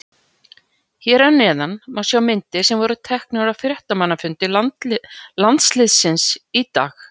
Hér að neðan má sjá myndir sem voru teknar á fréttamannafundi landsliðsins í dag.